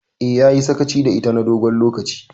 Eh, yayi sakaci da ita na dogon lokaci.